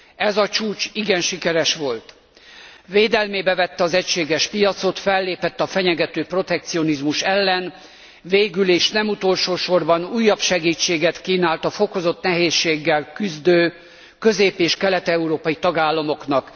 Ez a csúcs igen sikeres volt, védelmébe vette az egységes piacot, fellépett a fenyegető protekcionizmus ellen, végül és nem utolsósorban újabb segítséget kínált a fokozott nehézséggel küzdő közép és kelet európai tagállamoknak.